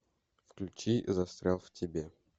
включи застрял в тебе